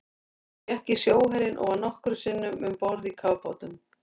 Hún gekk í sjóherinn og var nokkrum sinnum um borð í kafbátum.